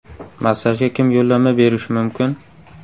Massajga kim yo‘llanma berishi mumkin?